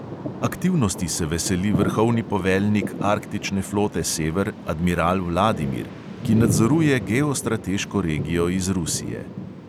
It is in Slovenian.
Aktivnosti se veseli vrhovni poveljnik arktične flote sever, admiral vladimir, ki nadzoruje geostrateško regijo iz rusije.